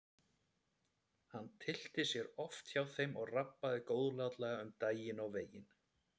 Hann tyllti sér oft hjá þeim og rabbaði góðlátlega um daginn og veginn.